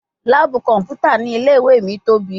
Laabu kọnputa ni ile-iwe mi tobi